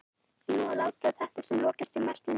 því má líta á þetta sem lokastig meltingar